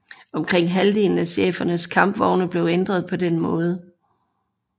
Omkring halvdelen af chefernes kampvogne blev ændret på den måde